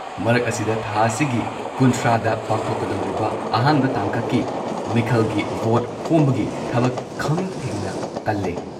ꯃꯔꯛ ꯑꯁꯤꯗ, ꯊꯥ ꯑꯁꯤꯒꯤ ꯀꯨꯟꯊ꯭ꯔꯥꯗ ꯄꯥꯡꯊꯣꯛꯀꯗꯧꯔꯤꯕ ꯑꯍꯥꯟꯕ ꯇꯥꯡꯀꯛꯀꯤ ꯃꯤꯈꯜꯒꯤ ꯚꯣꯠ ꯈꯣꯝꯕꯒꯤ ꯊꯕꯛ ꯈꯝꯊꯦꯡꯅ ꯀꯜꯂꯦ ꯫